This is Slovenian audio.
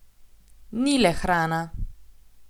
Ni le hrana!